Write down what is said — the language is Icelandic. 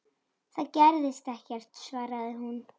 Það gerðist ekkert, svaraði hún.